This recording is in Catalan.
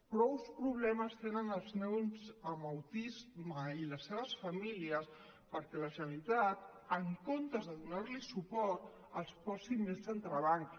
prou problemes tenen els nens amb autisme i les seves famílies perquè la generalitat en comptes de donar los suport els posi més entrebancs